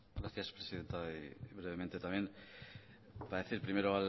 gracias presidenta brevemente también para decir primero